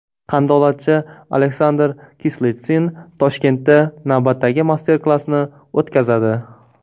Qandolatchi Aleksandr Kislitsin Toshkentda navbatdagi master-klassni o‘tkazadi.